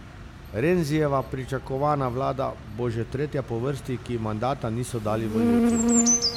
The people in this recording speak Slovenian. Renzijeva pričakovana vlada bo že tretja po vrsti, ki ji mandata niso dali volivci.